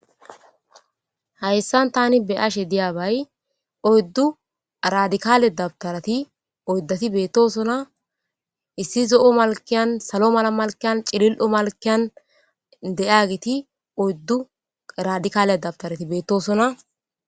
hayssan tani be ashe diyabay oyddu radikaale dabtarati oyddati beettosona issi zo7o malkiyan salo mala malkiyan cilil7o malkiyan de7agiti oyddu radikaale dabtarati beettosona